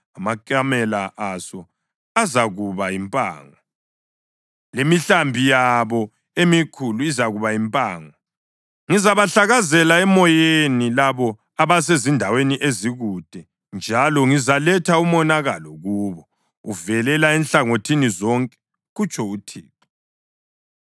Amakamela aso azakuba yimpango, lemihlambi yabo emikhulu izakuba yimpango. Ngizabahlakazela emoyeni labo abasezindaweni ezikude njalo ngizaletha umonakalo kubo uvelela enhlangothini zonke,” kutsho uThixo.